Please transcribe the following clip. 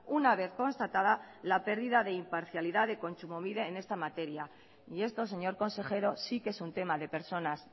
una vez constatada la pérdida de imparcialidad de kontsumobide en esta materia y esto señor consejero sí que es un tema de personas